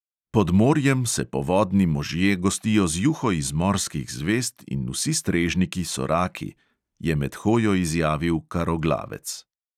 "Pod morjem se povodni možje gostijo z juho iz morskih zvezd in vsi strežniki so raki," je med hojo izjavil karoglavec.